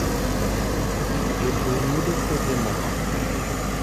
Jopur yudo kothe ma ok beyo